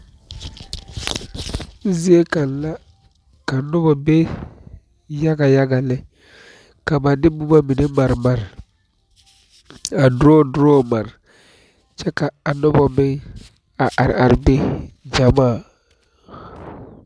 Zeɛ kang la ka nuba be yaga yaga le ka ba de buma mene mari mari a draw draw mari kye ka a nuba meng a arẽ arẽ be jamaa.